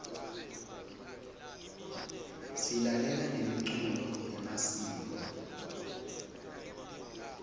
silalela nemicuco yemasiko